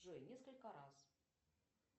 джой несколько раз